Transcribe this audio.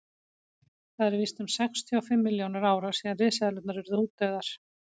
það eru víst um sextíu og fimm milljónir ára síðan risaeðlurnar urðu útdauðar